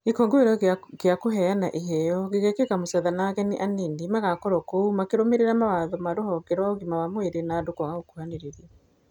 Gĩkũngũĩro kĩa kũheana iheo, gĩgekĩka Mũchatha na ageni anini nĩ magokorwo kuo makĩrũmĩrĩra mawatho ma rũhonge rũa ũgima wa mwĩrĩ na andũ kwaga gũkuhanĩrĩria.